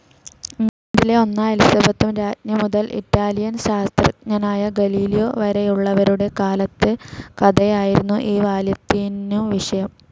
ഇംഗ്ലണ്ടിലെ ഒന്നാം എലിസബത്തു രാജ്ഞി മുതൽ ഇറ്റാലിയൻ ശാസ്ത്രജ്ഞനായ ഗലീലിയോ വരെയുള്ളുവരുടെ കാലത്തെ കഥയായിരുന്നു ഈ വാല്യത്തിനു വിഷയം.